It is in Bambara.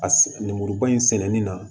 A sɛ lemuruba in sɛmɛni na